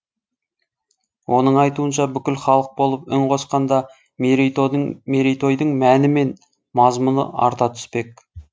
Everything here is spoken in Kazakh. оның айтуынша бүкіл халық болып үн қосқанда мерейтойдың мәні мен мазмұны арта түспек